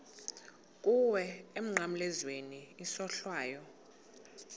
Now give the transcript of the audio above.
kuwe emnqamlezweni isohlwayo